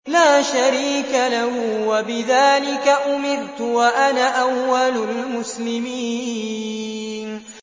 لَا شَرِيكَ لَهُ ۖ وَبِذَٰلِكَ أُمِرْتُ وَأَنَا أَوَّلُ الْمُسْلِمِينَ